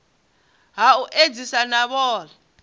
ha u edzisa na vhohe